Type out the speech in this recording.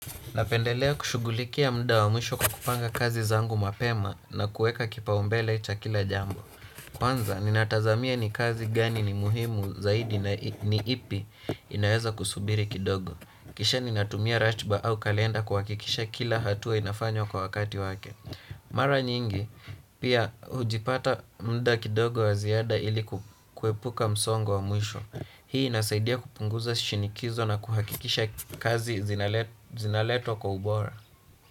Napendelea kushughulikia muda wa mwisho kwa kupanga kazi zangu mapema na kuweka kipaumbele cha kila jambo. Kwanza, ninatazamia ni kazi gani ni muhimu zaidi na ni ipi inaweza kusubiri kidogo. Kisha ninatumia ratiba au kalenda kuhakikisha kila hatua inafanywa kwa wakati wake. Mara nyingi, pia hujipata muda kidogo wa ziada ili kuepuka msongo wa mwisho. Hii inasaidia kupunguza shinikizo na kuhakikisha kazi zinaletwa kwa ubora.